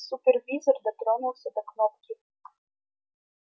супервизор дотронулся до кнопки